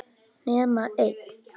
Nema einn.